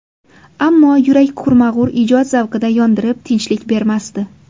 Ammo yurak qurmag‘ur ijod zavqida yondirib tinchlik bermasdi.